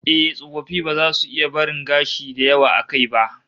Eh, tsofaffi ba za su iya barin gashi da yawa a kai ba